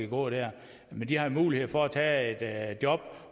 gå der men de har mulighed for at tage et job